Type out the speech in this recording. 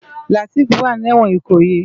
Lateef wá ni èwòn Ikoyi